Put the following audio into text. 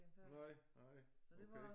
Nej nej okay